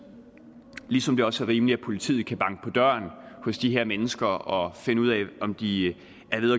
ligesom det også er rimeligt at politiet kan banke på døren hos de her mennesker og finde ud af om de